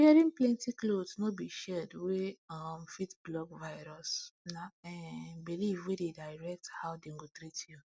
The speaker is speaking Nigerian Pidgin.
wearing plenty cloth no be shield wey um fit block virus na um belief wey dey direct how dem go treat you